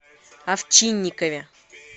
овчинникове